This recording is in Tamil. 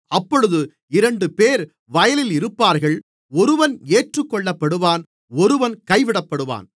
அப்பொழுது இரண்டுபேர் வயலில் இருப்பார்கள் ஒருவன் ஏற்றுக்கொள்ளப்படுவான் ஒருவன் கைவிடப்படுவான்